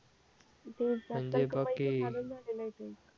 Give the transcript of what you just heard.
म्हणजे